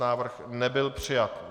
Návrh nebyl přijat.